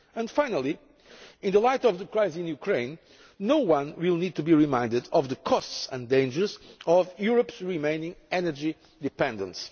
And finally, in the light of the crisis in Ukraine, no one will need to be reminded of the costs and dangers of Europe's continuing energy dependence.